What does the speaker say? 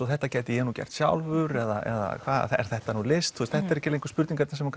þetta gæti ég nú gert sjálfur eða er þetta nú list þetta eru ekki lengur spurningar sem